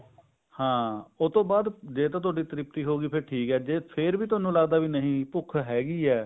ਹਾਂ ਉਹਤੋਂ ਬਾਅਦ ਜੇ ਤਾਂ ਤੁਹਾਡੀ ਤ੍ਰਿਪਤੀ ਹੋਗੀ ਫ਼ੇਰ ਤਾਂ ਠੀਕ ਹੈ ਜੇ ਫ਼ੇਰ ਵੀ ਤੁਹਾਨੂੰ ਲੱਗਦਾ ਵੀ ਨਹੀਂ ਭੁੱਖ ਹੈਗੀ ਹੈ